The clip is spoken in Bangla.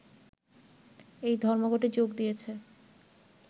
এই ধর্মঘটে যোগ দিয়েছে